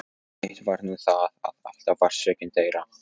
Eitt var nú það að alltaf var sökin þeirra.